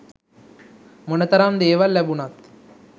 මොනතරම් දේවල් ලැබුනත්